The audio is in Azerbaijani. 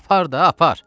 Apar da, apar!